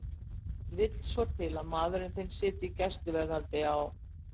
Ekki vill svo til að maðurinn þinn sitji í gæsluvarðhaldi á